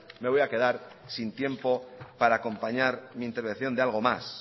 me voy a quedar sin tiempo para acompañar mi intervención de algo más